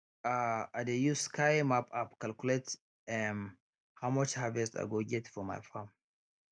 um i dey use sky map app calculate um how much harvest i go get for my farm